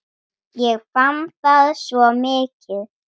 Ég fann það svo mikið.